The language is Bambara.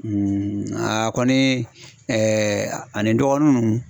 a kɔni ani dɔgɔnin nun